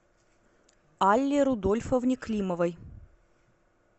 алле рудольфовне климовой